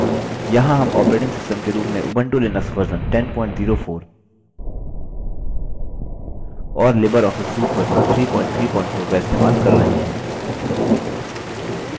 यहाँ हम operating system के रूप में उबंटू लिनक्स वर्ज़न 1004 और लिबर ऑफिस suite वर्ज़न 334 इस्तेमाल कर रहे हैं